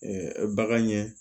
bagan ɲɛ